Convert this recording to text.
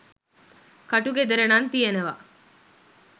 ක‍ටු ගෙදර නං තියෙනව